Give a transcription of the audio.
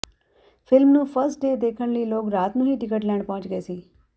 film ਨੂੰ first day ਦੇਖਣ ਲਈ ਲੋਕ ਰਾਤ ਨੂੰ ਹੀ ਟਿਕਟ ਲੈਣ ਪਹੁੰਚ ਗਏ ਸੀ